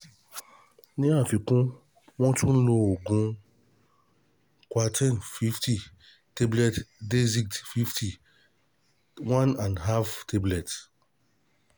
Ní àfikún, wọ́n tún ń lo oògùn QUITIPIN FIFTY TABLETS DAXID FIFTY ONE AND HALF TABLETS